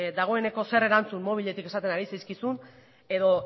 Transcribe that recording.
dagoeneko zer erantzun mobiletik esaten ari dizkizun edo